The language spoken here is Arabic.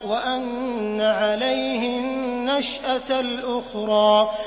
وَأَنَّ عَلَيْهِ النَّشْأَةَ الْأُخْرَىٰ